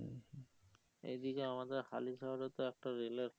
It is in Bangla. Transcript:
এই দিকে আমাদের হালি শহরে তো একটা রেল এর